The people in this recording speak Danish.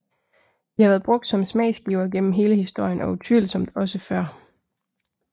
De har været brugt som smagsgivere gennem hele historien og utvivlsomt også før